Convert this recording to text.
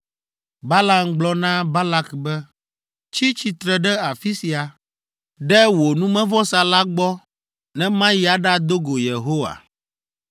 Balaam gblɔ na Balak be, “Tsi tsitre ɖe afi sia, ɖe wò numevɔsa la gbɔ ne mayi aɖado go Yehowa.”